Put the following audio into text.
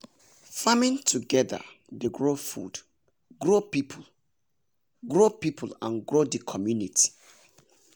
farming together dey grow food grow people grow people and grow the community.